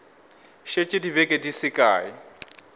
šetše dibeke di se kae